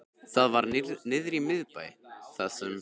Það var niðri í miðbæ, þar sem